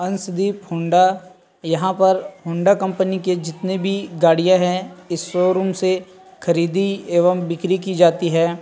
अंश दीप हौंडा यहाँ पर हौंडा कंपनी के जितने भी गाड़िया है इस शोरूम से खरीदी एवं बिक्री कि जाती है ।